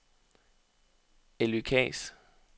Elly Kaas